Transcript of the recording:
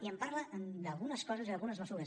i em parla d’algunes coses i d’algunes mesures